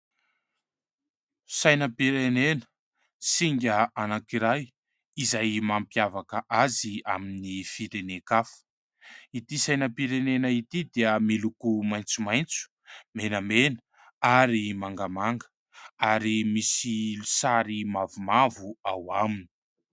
Sainam-pirenena, singa anankiray izay mampiavaka azy amin'ny firenen-kafa. Ity sainam-pirenena ity dia miloko maitsomaitso, menamena ary mangamanga ary misy sary mavomavo ao aminy.